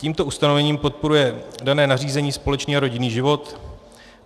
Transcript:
Tímto ustanovením podporuje dané nařízení společný a rodinný život.